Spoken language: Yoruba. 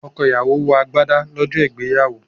Ọkọ̀ ìyàwó wọ agbádá lọ́jọ́ ìgbéyàwó.